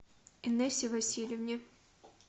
инессе васильевне